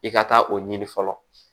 I ka taa o ɲini fɔlɔ